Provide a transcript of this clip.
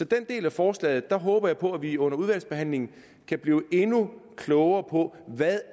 den del af forslaget håber jeg på at vi under udvalgsbehandlingen kan blive endnu klogere på hvad